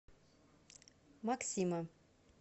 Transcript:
максима